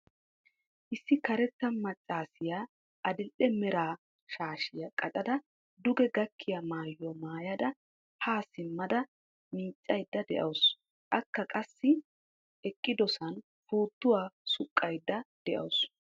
Issi karetta maccaasiya adil"e mera shaashiya qacada duge gakkiya maayuwa maayada ha simmada miiccaydda de'awusu. Akka qassi eqqidosan puuttuwa suqqaydda de'awusu.